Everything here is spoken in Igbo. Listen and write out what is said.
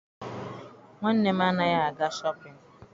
Nwanne m anaghị aga Shọpịn.